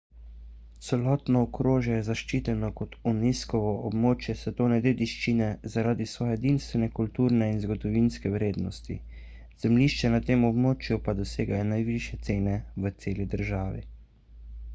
celotno okrožje je zaščiteno kot unescovo območje svetovne dediščine zaradi svoje edinstvene kulturne in zgodovinske vrednosti zemljišča na tem območju pa dosegajo najvišje cene v celi državi